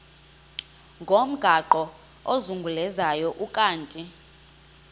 ngomgaqo ozungulezayo ukanti